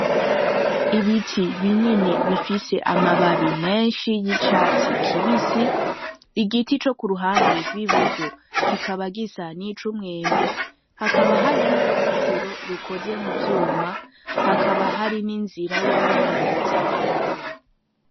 Ibiti binini bifise amababi menshi y'icatsi kibisi igiti co kuruhande rw'iburyo kikaba gisa nicumwembe haba hari n'uruzitiro rukoze muvyuma hakaba hari ninzira yabiyunguruza n'amaguru.